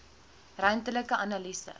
ruimtelike analise